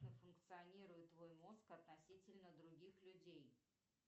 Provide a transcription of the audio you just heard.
функционирует твой мозг относительно других людей